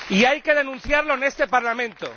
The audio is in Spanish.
Y hay que denunciarlo en este Parlamento.